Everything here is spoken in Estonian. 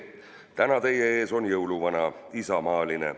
Täna teie ees on jõuluvana isamaaline.